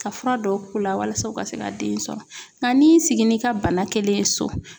Ka fura dɔw k'u la walasa u ka se ka den sɔrɔ nka n'i y'i sigi n'i ka bana kelen ye so